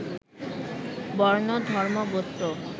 বর্ণ, ধর্ম, গোত্র